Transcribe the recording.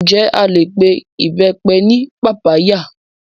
Ǹjẹ́ a lè pe Ìbẹ́pẹ ní pápá yà?